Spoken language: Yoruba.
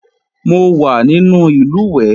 Mo wà nínú ìlùwẹ̀ẹ̀